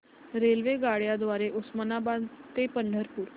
रेल्वेगाड्यां द्वारे उस्मानाबाद ते पंढरपूर